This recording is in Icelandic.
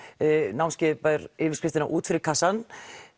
námskeiðið ber yfirskriftina út fyrir kassann